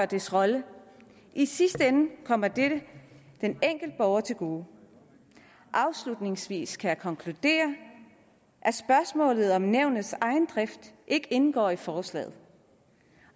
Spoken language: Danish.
dets rolle i sidste ende kommer dette den enkelte borger til gode afslutningsvis kan jeg konkludere at spørgsmålet om nævnets egen drift ikke indgår i forslaget